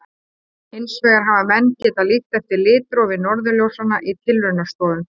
Hins vegar hafa menn getað líkt eftir litrófi norðurljósanna í tilraunastofum.